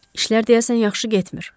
İşlər deyəsən yaxşı getmir.